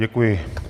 Děkuji.